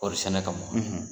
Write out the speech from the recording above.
Kɔɔrisɛnɛ kama,